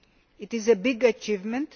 This is a big achievement.